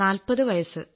40 വയസ്സ്